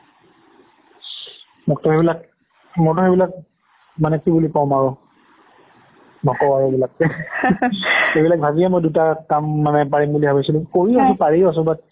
মোকতো সেইবিলাক মইতো সেইবিলাক মানে কি বুলি কম আৰু নকওঁ আৰু এইবিলাক এইবিলাক ভাবিয়েই মই দুটা কাম মানে পাৰিম বুলি ভাবিছিলো কৰিয়েই আছো পাৰি আছো but